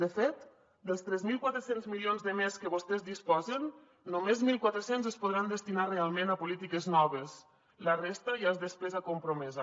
de fet dels tres mil quatre cents milions de més que vostès disposen només mil quatre cents es podran destinar realment a polítiques noves la resta ja és despesa compromesa